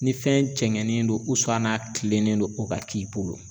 Ni fɛn jɛngɛnen don n'a kilennen don o ka k'i bolo